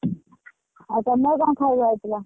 ଆଉ ତମର କଣ ଖାଇବା ହେଇଥିଲା?